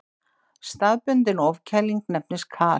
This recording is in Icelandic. Staðbundin ofkæling nefnist kal.